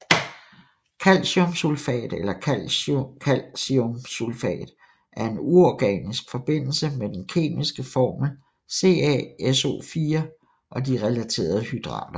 Calciumsulfat eller kalciumsulfat er en uorganisk forbindelse med den kemiske formel CaSO4 og de relaterede hydrater